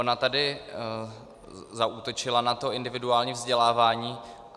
Ona tady zaútočila na to individuální vzdělávání.